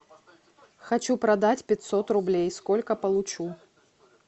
хочу продать пятьсот рублей сколько получу